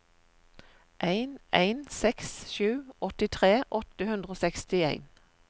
en en seks sju åttitre åtte hundre og sekstien